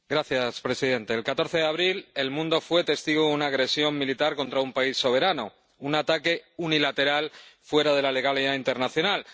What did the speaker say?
Señor presidente, el 14 de abril el mundo fue testigo de una agresión militar contra un país soberano, un ataque unilateral fuera de la legalidad internacional.